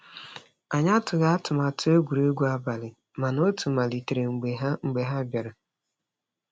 Anyị atụghị atụmatụ egwuregwu abalị, mana otu malitere mgbe ha mgbe ha bịara.